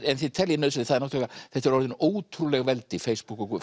en þið teljið nauðsynlegt þetta eru orðin ótrúleg veldi Facebook og